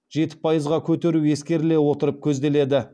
жеті пайызға көтеру ескеріле отырып көзделеді